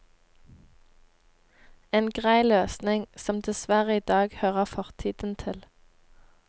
En grei løsning, som dessverre i dag hører fortiden til.